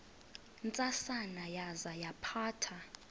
ntsasana yaza yaphatha